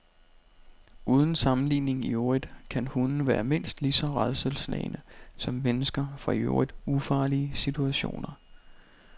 Uden sammenligning i øvrigt kan hunde være mindst lige så rædselsslagne som mennesker for i øvrigt ufarlige situationer.